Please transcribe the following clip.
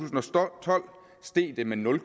tolv steg det med nul